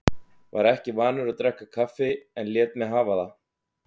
Var ekki vanur að drekka kaffi en lét mig hafa það.